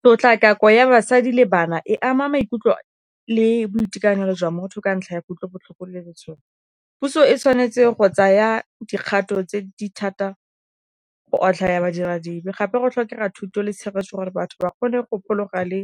Tshotlakako ya basadi le bana, e ama maikutlo le boitekanelo jwa motho ka ntlha ya kutlobotlhoko, le . Puso e tshwanetse go tsaya dikgato tse di thata go otlhaya ba dira dibe, gape go tlhokega thuto le tshegetso gore batho ba kgone go phologa, le